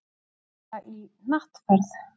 Fara í hnattferð.